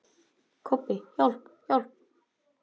Kobbi, hjálp, hjálp.